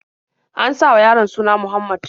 An sa wa yaron suna Muhammad.